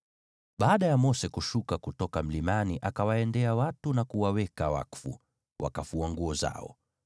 Baada ya Mose kushuka kutoka mlimani akawaendea watu na kuwaweka wakfu, wakafua nguo zao.